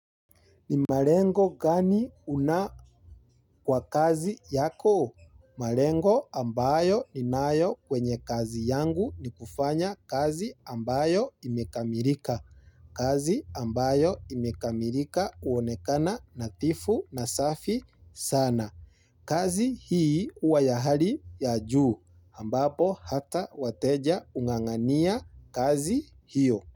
Ni malengo gani una kwa kazi yako? Malengo ambayo ninayo kwenye kazi yangu ni kufanya kazi ambayo imekamilika. Kazi ambayo imekamilika huonekana nadhifu na safi sana. Kazi hii huwa ya hali ya juu ambapo hata wateja hung'ang'ania kazi hiyo.